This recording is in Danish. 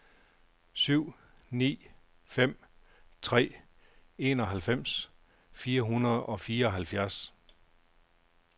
syv ni fem tre enoghalvfems fire hundrede og fireoghalvfjerds